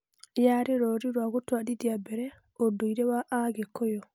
Yarĩ rũri rwa gũtwarithia mbere ũndũire wa a Gĩkũyũ.